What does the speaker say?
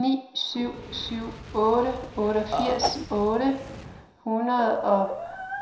ni syv syv otte otteogfirs otte hundrede og